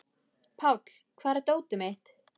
Páll, hvar er dótið mitt?